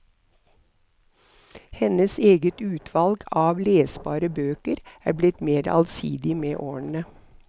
Hennes eget utvalg av lesbare bøker er blitt mer allsidig med årene.